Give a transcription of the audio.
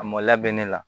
A mɔla bɛ ne la